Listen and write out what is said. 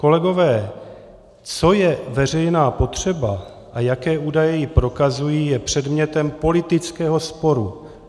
Kolegové, co je veřejná potřeba a jaké údaje ji prokazují, je předmětem politického sporu.